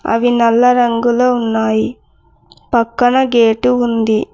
అవి నల్ల రంగులో ఉన్నాయి పక్కన గేటు ఉంది.